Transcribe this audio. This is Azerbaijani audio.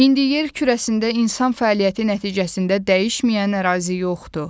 İndi yer kürəsində insan fəaliyyəti nəticəsində dəyişməyən ərazi yoxdur.